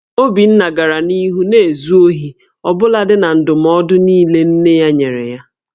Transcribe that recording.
Obinna gara n'ihu na-ezu ohi ọbụlagodi na ndụmọdụ niile nne ya nyere ya